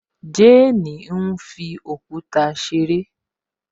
Jane fi òkúta ṣeré